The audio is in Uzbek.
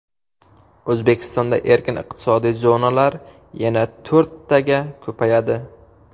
O‘zbekistonda erkin iqtisodiy zonalar yana to‘rttaga ko‘payadi.